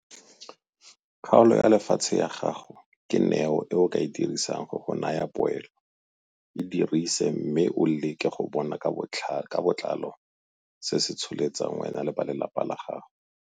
Kgaolo ya lefatshe ya gago ke neo e o ka e dirisang go go naya poelo - e dirise mme o leke go bona ka botlalo se se ka tsholetsang wena le ba lelapa la goga.